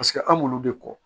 Paseke an m'olu de kɔ